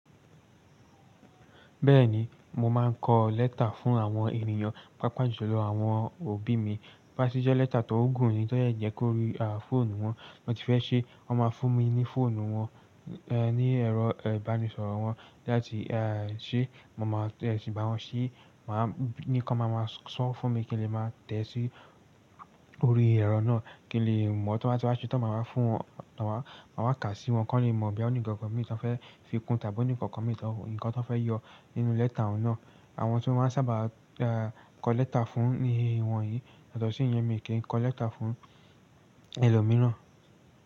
Bẹ́ẹ̀ni, mo máa ń kọ lẹ́tà fún àwọn ènìyàn, pàápàá jùlọ àwọn òbí mi. Bá ṣe jẹ́ lẹ́tà tó gùn ni, tó dẹ̀ jẹ́ kó rí fọ́ọ̀nù wọn, na ti fẹ́ ṣé wọ́n máa fún mi ní fọ́ọ̀nù wọn, ní ẹ̀rọ ìbánisọ̀rọ̀ wọn láti ṣé mo máa tiẹ̀ sí ba wọn ṣé, maa wa ní kan máa máa san wo fún mi kí n lè máa tẹ̀ sí orí ẹ̀rọ náà kí n lè mọ̀ tí wọ́n bá ti wá ṣe tán máa wa fún wọn, tí wọ́n máa kà sí wọn, kan lè mọ̀ bóyá ó ní nnkankan mi tí wọn fẹ́ fi kún tàbí ó ní nnkankan mi tí wọn, nǹkan tí wọn fẹ́ yọ nínú lẹ́tà n náà. Àwọn tí mo maa sábà kọ lẹ́tà fún ní ìwọ̀nyìí yàtọ̀ tó sìyẹn mi kí n kọ lẹ́tà fún ẹlòmíràn.